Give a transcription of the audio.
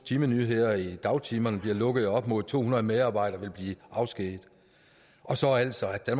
timenyheder i dagtimerne bliver lukket op mod to hundrede medarbejdere vil blive afskediget og så altså at